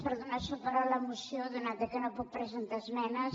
per donar suport a la moció atès que no puc presentar esmenes